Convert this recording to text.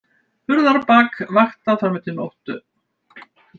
Hurðarbak vaktað fram eftir nóttu